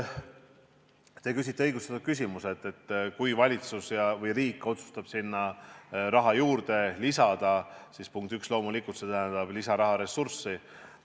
Te küsite õigustatud küsimuse, et kui valitsus või riik otsustab sinna raha juurde lisada, siis, punkt üks, loomulikult tähendab see lisaraharessurssi.